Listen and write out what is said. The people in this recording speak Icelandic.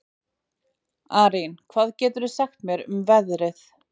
Arín, hvað geturðu sagt mér um veðrið?